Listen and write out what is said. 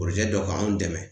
dɔ ka anw dɛmɛ.